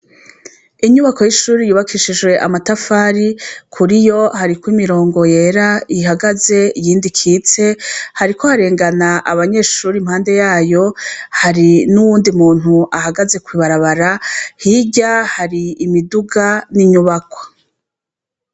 Inyubako y'ishure yubakishijwe amatafari. Kur'iyo, hariko imirongo yera ihagaze, iyindi ikitse. Hariko harengana abanyeshure impande yayo. Hariho n'uwundi muntu ahagaze kw'ibarabara , hirya hari imiduga n'inyubako.